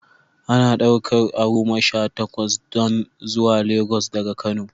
Ana ɗaukar away goma Sha takwas don zuwa Lagos daga kano